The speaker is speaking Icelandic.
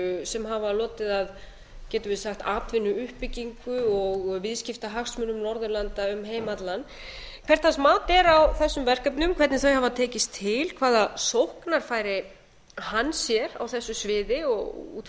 sem hafa lotið að getum við sagt atvinnuuppbyggingu og viðskiptahagsmunum norðurlanda um heim allan hvert hans mat er á þessum verkefnum hvernig þau hafa tekist til hvaða sóknarfæri hann sér á þessu sviði út